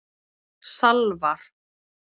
Salvar